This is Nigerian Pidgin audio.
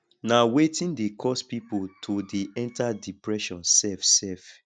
na wetin dey cause people to dey enter depression sef sef